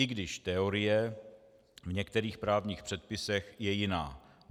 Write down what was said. I když teorie v některých právních předpisech je jiná.